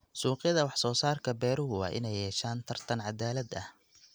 Suuqyada wax-soo-saarka beeruhu waa inay yeeshaan tartan cadaalad ah.